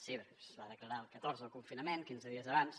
sí perquè es va declarar el catorze el confinament quinze dies abans